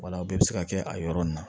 Wala bɛɛ bɛ se ka kɛ a yɔrɔ nin na